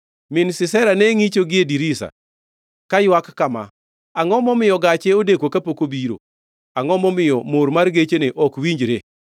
“Min Sisera ne ngʼicho gie dirisa; kaywak kama: ‘Angʼo momiyo gache odeko kapok obiro? Angʼo momiyo mor mar gechene ok winjre?’